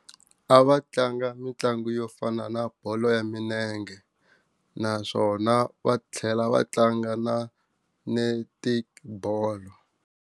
A va tlanga mitlangu yo fana na bolo ya minenge naswona va tlhela va tlanga na netibolo.